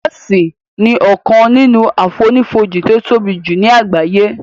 Jọ́òsì ni ọkàn nínú àfonífojì tí ó tóbi jù ní àgbáyé